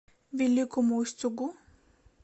великому устюгу